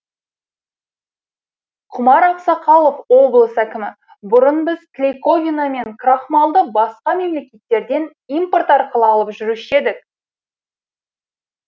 құмар ақсақалов облыс әкімі бұрын біз клейковина мен крахмалды басқа мемлекеттерден импорт арқылы алып жүруші едік